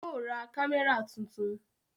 Yóò ra kámẹ́rà tuntun